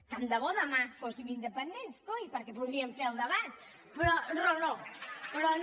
tant de bo demà fóssim independents coi perquè podríem fer el debat però no però no